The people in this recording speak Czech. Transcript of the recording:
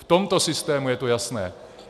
V tomto systému je to jasné.